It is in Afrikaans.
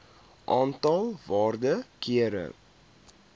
aantal waarde kere